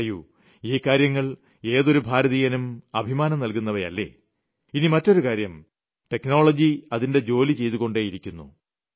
പറയൂ ഈ കാര്യങ്ങൾ ഏതൊരു ഭാരതീയനും അഭിമാനം നൽകുന്നവയല്ലേ ഇനി മറ്റൊരു കാര്യം ടെക്നോളജി അതിന്റെ ജോലി ചെയ്തു കൊണ്ടേയിരിക്കുന്നു